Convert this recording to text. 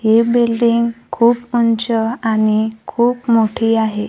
ही building खूप उंच आणि खूप मोठी आहे.